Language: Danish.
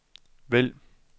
vælg